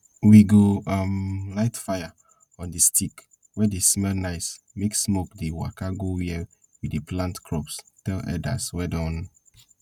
we go um light fire on di stick wey dey smell nice make smoke dey waka go where we dey plant crops tell elders wey don